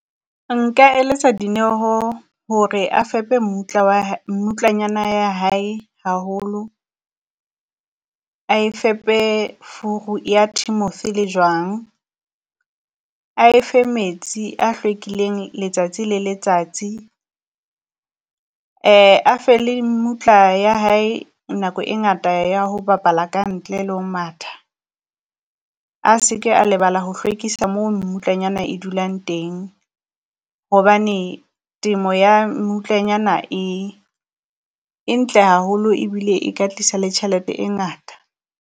Nka eletsa Dineho hore a fepe mmutla wa mmutlanyana ya hae haholo. A e fepe furu ya Timothy le jwang, a efe metsi a hlwekileng letsatsi le letsatsi, a e fe le mmutla ya hae nako e ngata ya ho bapala ka ntle le ho matha. A se ke a lebala ho hlwekisa moo mmutlanyana e dulang teng, hobane temo ya mmutlanyana e e ntle haholo ebile e ka tlisa le tjhelete e ngata.